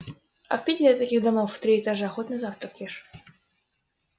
а в питере таких домов в три этажа хоть на завтрак ешь